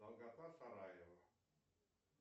долгота сараево